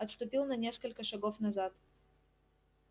отступил на несколько шагов назад